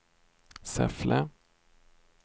Säffle